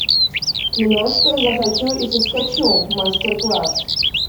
киношка захочу и соскочу мастер класс